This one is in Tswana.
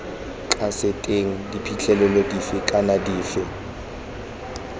kaseteng diphitlhelelo dife kana dife